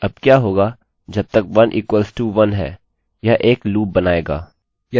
यदि मैं यहाँ कुछ करता हूँ चलिए इसको जाँचें